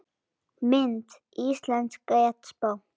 Mynd: Íslensk getspá